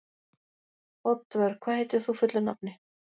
Oddvör, hvað heitir þú fullu nafni?